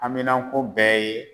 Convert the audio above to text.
Haminanko bɛɛ ye